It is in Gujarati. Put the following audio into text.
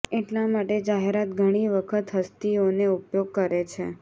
એટલા માટે જાહેરાત ઘણી વખત હસ્તીઓને ઉપયોગ કરે છે